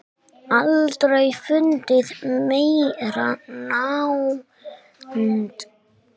Aldrei fundið meiri nánd.